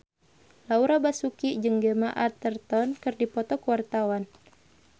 Laura Basuki jeung Gemma Arterton keur dipoto ku wartawan